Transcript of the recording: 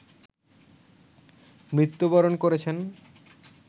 মৃত্যুবরণ করেছেন